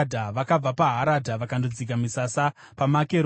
Vakabva paHaradha vakandodzika misasa paMakeroti.